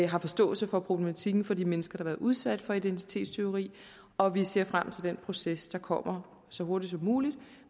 har forståelse for problematikken for de mennesker været udsat for identitetstyveri og at vi ser frem til den proces der kommer så hurtigt som muligt og